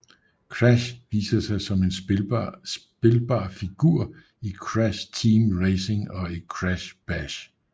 Crash viser sig som en spilbar figur i Crash Team Racing og Crash Bash